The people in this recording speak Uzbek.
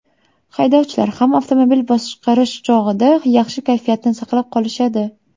Haydovchilar ham avtomobil boshqarish chog‘ida yaxshi kayfiyatni saqlab qolishadi.